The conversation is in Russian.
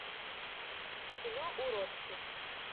кино уродцы